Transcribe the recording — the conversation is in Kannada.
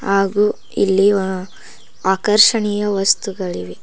ಹಾಗು ಇಲ್ಲಿ ಆ ಆಕರ್ಷಣೆಯ ವಸ್ತುಗಳಿವೆ.